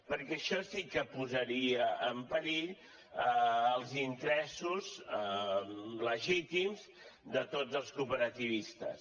perquè això sí que posaria en perill els interessos legítims de tots els cooperativistes